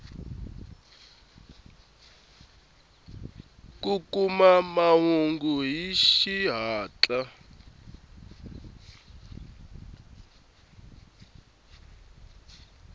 hi kuma mahungu hi xihatla